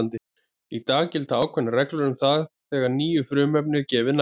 Í dag gilda ákveðnar reglur um það þegar nýju frumefni er gefið nafn.